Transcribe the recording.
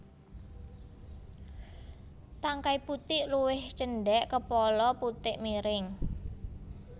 Tangkai putik luwih cendhek kepala putik miring